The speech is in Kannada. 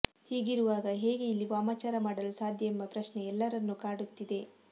ಹೀಗಿರುವಾಗ ಹೇಗೆ ಇಲ್ಲಿ ವಾಮಾಚಾರ ಮಾಡಲು ಸಾಧ್ಯ ಎಂಬ ಪ್ರಶ್ನೆ ಎಲ್ಲರನ್ನು ಕಾಡುತ್ತಿದೆ